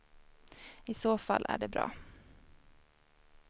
I så fall är det bra.